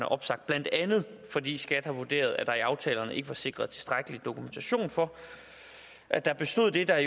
opsagt blandt andet fordi skat har vurderet at der i aftalerne ikke var sikret tilstrækkelig dokumentation for at der bestod det der